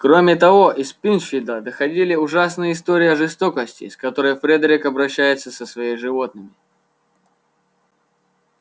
кроме того из пинчфилда доходили ужасные истории о жестокости с которой фредерик обращается со своими животными